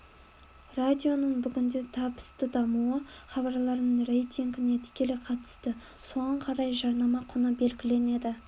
радионың бүгінде табысты дамуы хабарларының рейтингіне тікелей қатысты соған қарай жарнама құны белгіленеді